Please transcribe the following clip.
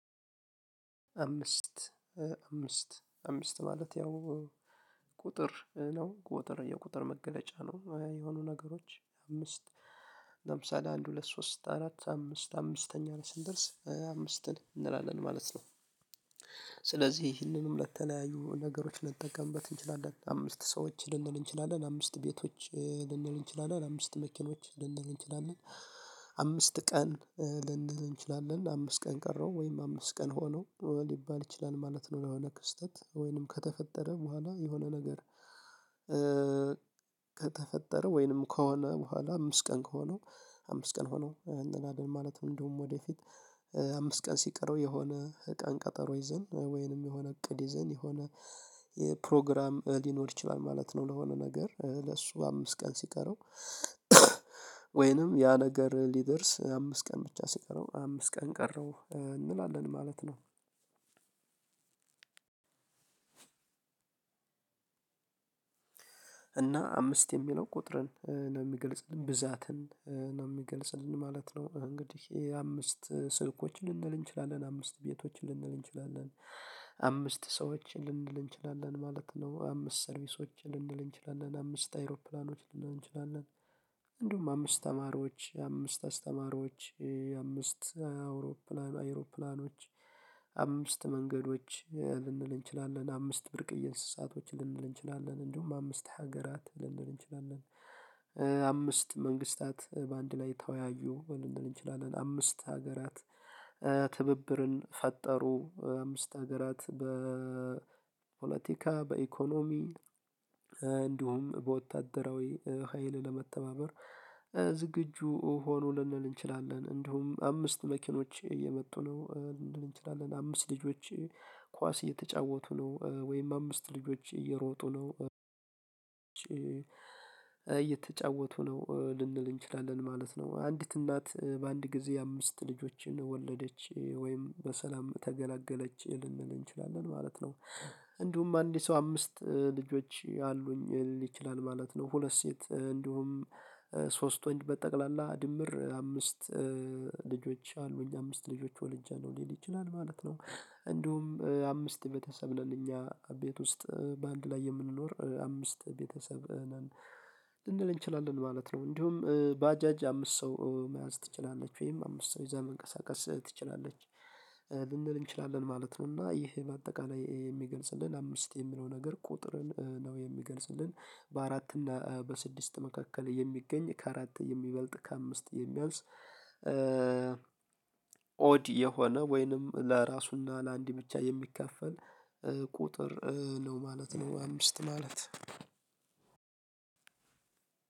አምስት። አምስት አምስት ማለት ያው ቁጥር ነው ቁጥር የቁጥር መገለጫ ነው። የሆኑ ነገሮች አምስት ለምሳሌ አንድ ሁለት ሶስት አራት አምስት አምስተኛ ላይ ስንደርስ አምስትን እንላለን ማለት ነው። ስለዚህ ይህንንም ለተለያዩ ነገሮች ልንጠቀምበት እንችላለን አምስት ሰዎችን ልንል እንችላለን አምስት ቤቶችን ልንል እንችላለን አምስት መኪኖችን ልንል እንችላለን። አምስት ቀን ልንል እንችላለን አምስት ቀን ቀረው ወይም አምስት ቀን ሆነው ሊባል ይችላል ማለት ነው ለሆነ ክስተት ወይንም ከተፈጠረ በኋላ የሆነ ነገር። ከተፈጠረ ወይንም ከሆነ በኋላ አምስት ቀን ከሆነው አምስት ቀን ሆነው እንላለን ማለት ነው። እንደውም ወደፊት አምስት ቀን ሲቀረው የሆነ ቀን ቀጠሮ ይዘን ወይንም የሆነ እቅድ ይዘን የሆነ የፕሮግራም ሊኖር ይችላል ማለት ነው። ለሆነ ነገር ለሱ አምስት ቀን ሲቀረው ወይንም ያ ነገር ሊደርስ አምስት ቀን ብቻ ሲቀረው አምስት ቀን ቀረው እንላለን ማለት ነው። እና አምስት የሚለው ቁጥርን ነው የሚገልጽልን ብዛትን ነው የሚገልጽልን ማለት ነው። እንግዲህ ይሄ አምስት ስልኮች ልንል እንችላለን አምስት ቤቶች ልንል እንችላለን አምስት ሰዎች ልንል እንችላለን ማለት ነው አምስት ሰርቪሶችን ልንል እንችላለን አምስት አይሮፕላኖችን ልንል እንችላለን። እንዲሁም አምስት ተማሪዎች አምስት አስተማሪዎች አምስት አውሮፕላን አይሮፕላኖች አምስት መንገዶች ልንል እንችላለን አምስት ብርቅዬ እንስሳቶች ልንል እንችላለን እንዲሁም አምስት ሀገራት ልንል እንችላለን። አምስት መንግስታት በአንድ ላይ ተወያዩ ልንል እንችላለን አምስት ሀገራት ትብብርን ፈጠሩ አምስት ሀገራት በፖለቲካ በኢኮኖሚ እንዲሁም በወታደራዊ ሀይል ለመተባበር ዝግጁ ሆኑ ልንል እንችላለን። እንዲሁም አምስት መኪኖች እየመጡ ነው ልንል እንችላለን። አምስት ልጆች ኳስ እየተጫወቱ ነው ወይም አምስት ልጆች እየሮጡ ነው እየተጫወቱ ነው ልንል እንችላለን ማለት ነው። አንዲት እናት በአንድ ጊዜ አምስት ልጆችን ወለደች ወይም በሰላም ተገላገለች ልንል እንችላለን ማለት ነው። እንዲሁም አንድ ሰው አምስት ልጆች አሉኝ ሊል ማለት ነው። ሁለት ሴት እንዲሁም ሶስት ወንድ በጠቅላላ ድምር አምስት ልጆች አሉኝ አምስት ልጆች ወልጃለሁ ሊል ይችላል ማለት ነው። እንዲሁም አምስት ቤተሰብ ነን እኛ ቤት ውስጥ በአንድ ላይ የምንኖር አምስት ቤተሰብ ነን ልንል እንችላለን ማለት ነው። እንዲሁም ባጃጅ አምስት ሰው መያዝ ትችላለች ወይም አምስት ሰው ይዛ መንቀሳቀስ ትችላለች ልንል እንችላለን ማለት ነው። እና ይሄ በአጠቃላይ የሚገልጽልን አምስት የሚለው ነገር ቁጥርን ነው የሚገልጽልን። በአራት እና በስድስት መካከል የሚገኝ ከአራት የሚበልጥ ከአምስት የሚያወስ ኦድ የሆነ ወይንም ለራሱና ለአንድ ብቻ የሚከፈል ቁጥር ነው ማለት ነው። አምስት ማለት